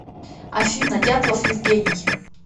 афина дятлов евгений